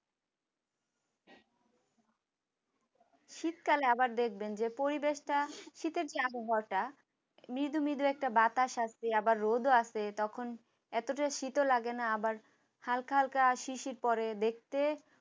শীত কালে আবার দেখবেন যে পরিবেশ টা শীতের যে আবহাওয়াটা মৃদু মৃদু একটা বাতাস আসবে আবার রোদো আসে তখন এতটা শীত লাগে না আবার হালকা হালকা শিশির পরে দেখতে